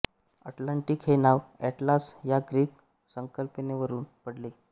Atlantic हे नाव Atlas या ग्रीक संकल्पनेवरून पडले